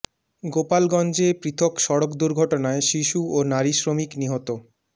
গোপালগঞ্জে পৃথক সড়ক দুর্ঘটনায় শিশু ও নারী শ্রমিক নিহত